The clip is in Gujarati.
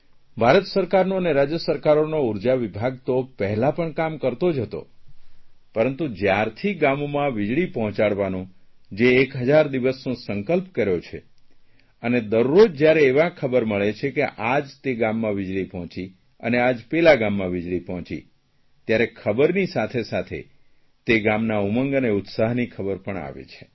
ભારત સરકારનો અને રાજય સરકારોને ઉર્જા વિભાગ તો પહેલાં પણ કામ કરતો જ હતો પરંતુ જયારથી ગામોમાં વીજળી પહોંચાડવાનો જે 1000 દિવસનો સંકલ્પ કર્યો છે અને દરરોજ જયારે એવાં ખબર મળે છે કે આજ તે ગામમાં વીજળી પહોંચી અને આજ પેલા ગામમાં વીજળી પહોંચી ત્યારે ખબરની સાથે સાથે તે ગામના ઉમંગ અને ઉત્સાહની ખબર પણ આપે છે